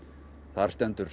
þar stendur